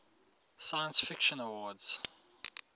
science fiction awards